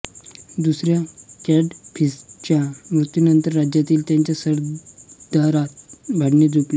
दुसऱ्या कॅडफिससच्या मृत्यूनंतर राज्यासाठी त्याच्या सरदारात भांडणे जुंपली